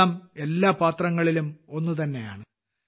വെള്ളം എല്ലാ പാത്രങ്ങളിലും ഒന്നുതന്നെയാണ്